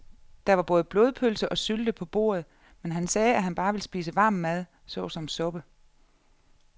Der var både blodpølse og sylte på bordet, men han sagde, at han bare ville spise varm mad såsom suppe.